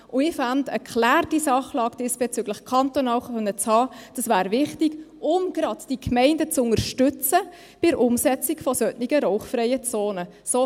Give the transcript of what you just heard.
Ich finde, diesbezüglich kantonal eine geklärte Sachlage zu haben, wäre wichtig, um gerade die Gemeinden bei der Umsetzung von solchen rauchfreien Zonen zu unterstützen.